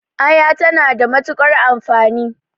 Aya ta na da matuƙar amfani